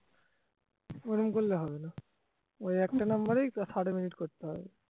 ওরম করলে হবে না ওই একটা number এ thirty minute করতে হবে